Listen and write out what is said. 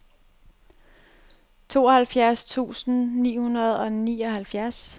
tooghalvfjerds tusind ni hundrede og nioghalvfjerds